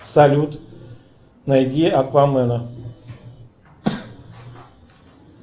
салют найди аквамена